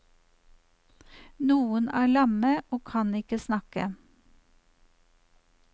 Noen er lamme og kan ikke snakke.